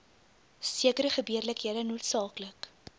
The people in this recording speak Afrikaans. sekere gebeurlikhede noodsaaklik